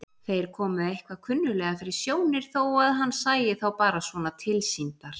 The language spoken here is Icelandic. Þeir komu eitthvað kunnuglega fyrir sjónir þó að hann sæi þá bara svona tilsýndar.